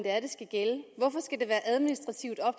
være administrativt op